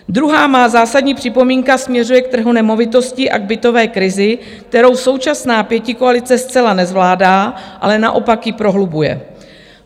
Druhá má zásadní připomínka směřuje k trhu nemovitostí a k bytové krizi, kterou současná pětikoalice zcela nezvládá, ale naopak ji prohlubuje.